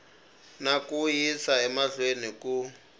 na ku yisa emahlweni ku